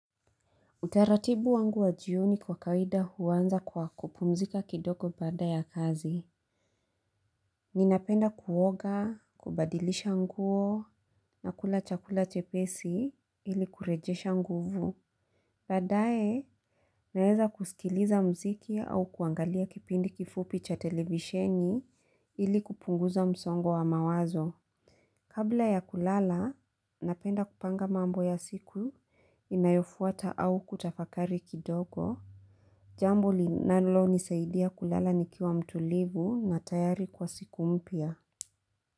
Utaratibu wangu wa jioni kwa kawaida huanza kwa kupumzika kidogo baada ya kazi. Ninapenda kuoga, kubadilisha nguo, na kula chakula chepesi ili kurejesha nguvu. Baadaye, naweza kusikiliza muziki au kuangalia kipindi kifupi cha televisheni ili kupunguza msongo wa mawazo. Kabla ya kulala, napenda kupanga mambo ya siku inayofuata au kutafakari kidogo. Jambo linalonisaidia kulala nikiwa mtulivu na tayari kwa siku mpya.